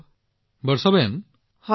ঠিক আছে বৰ্ষাবেন